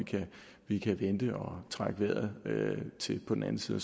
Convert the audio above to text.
vi kan vente og trække vejret til den anden side